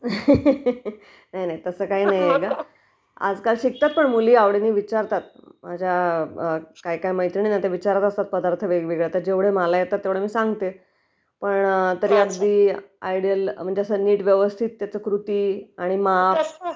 Laugh नाही नाही तसं काही नाही...आजकाल शिकतात पण मुली आवडीने विचारतात माझ्या काय काय मैत्रिणी आहेत ना विचारत असतात पदार्थ वेगवेगळे आता जेवढे मला येतात तेवढे सांगते पण. तरी कसं आयडीयल म्हणजे अस नीट व्यवस्थित असं त्याची कृती आणि माप